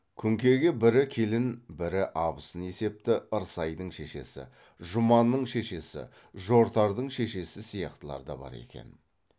күнкеге бірі келін бірі абысын есепті ырсайдың шешесі жұманның шешесі жортардың шешесі сияқтылар да бар екен